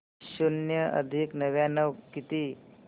शून्य अधिक नव्याण्णव किती